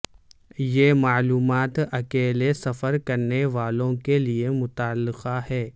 یہ معلومات اکیلے سفر کرنے والوں کے لئے متعلقہ ہے